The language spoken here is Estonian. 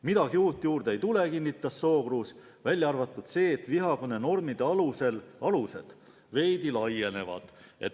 Midagi uut juurde ei tule, kinnitas Sookruus, välja arvatud see, et vihakõne normide alused veidi laienevad.